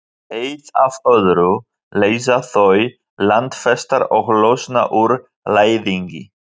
Eitt af öðru leysa þau landfestar og losna úr læðingi.